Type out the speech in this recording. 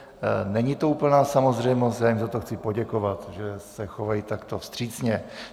Není to úplná samozřejmost, já jim za to chci poděkovat, že se chovají takto vstřícně.